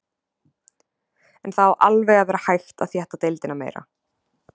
En það á alveg að vera hægt að þétta deildina meira.